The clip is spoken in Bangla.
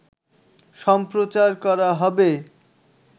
সম্প্রচার করা হবে